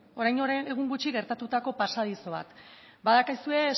orain egun gutxi gertatuko pasadizo bat badakizue